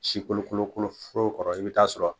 Si kolokolo kolo fɔrɔ kɔrɔ i bi taa sɔrɔ